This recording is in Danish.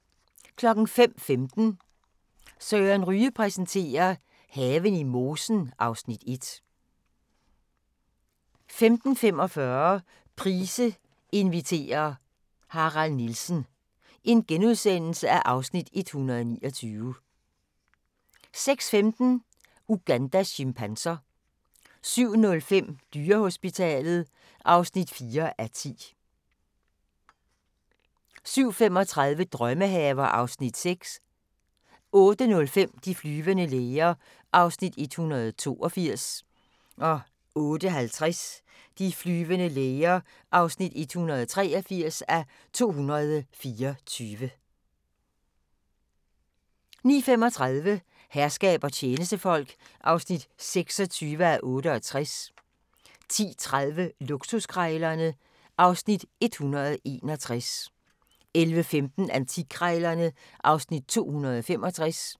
05:15: Søren Ryge præsenterer: Haven i mosen (Afs. 1) 05:45: Price inviterer - Harald Nielsen (Afs. 129)* 06:15: Ugandas chimpanser 07:05: Dyrehospitalet (4:10) 07:35: Drømmehaver (Afs. 6) 08:05: De flyvende læger (182:224) 08:50: De flyvende læger (183:224) 09:35: Herskab og tjenestefolk (26:68) 10:30: Luksuskrejlerne (Afs. 161) 11:15: Antikkrejlerne (Afs. 265)